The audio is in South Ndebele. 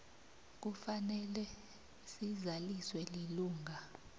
kufanele sizaliswe lilunga